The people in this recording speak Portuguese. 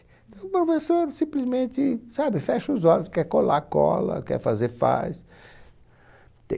O professor simplesmente, sabe? Fecha os olhos, quer colar, cola, quer fazer, faz.